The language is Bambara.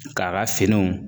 K'a ka finiw